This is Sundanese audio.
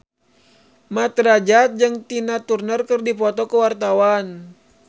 Mat Drajat jeung Tina Turner keur dipoto ku wartawan